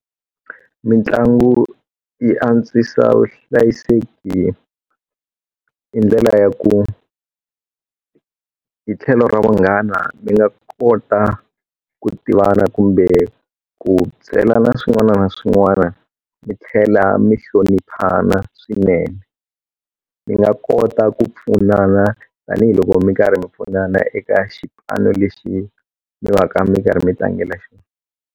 Mitlangu yi antswisa vuhlayiseki hi hi ndlela ya ku hi tlhelo ra vunghana mi nga kota ku tivana kumbe ku byelana swin'wana na swin'wana mi tlhela mi hloniphana swinene mi nga kota ku pfunana tanihiloko mi karhi mi pfunana eka xipano lexi mi va ka mi karhi mi tlangela xona.